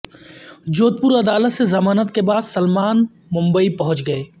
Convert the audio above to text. جودھپور عدالت سے ضمانت کے بعد سلمان ممبئی پہنچ گئے